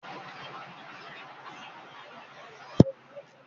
Ṣé Èmi ni mo máa lu gángan ní òde yẹn